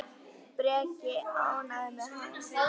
Breki: Ánægður með hann?